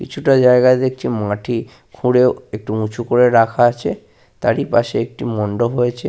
কিছুটা জায়গা দেখছি মাটি খুঁড়ে একটু উঁচু করে রাখা আছে। তারি পাশে একটি মন্ডপ রয়েছে ।